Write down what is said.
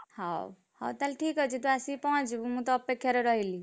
ହଉ ହଉ ତାହେଲେ ଠିକ୍ ଅଛି ତୁ ଆସିକି ପହଞ୍ଚିବୁ ମୁଁ ତୋ ଅପେକ୍ଷାରେ ରହିଲି।